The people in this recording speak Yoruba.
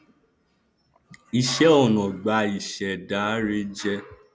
ìṣẹ ọnà gbáà ni ìṣẹdá rẹ jẹ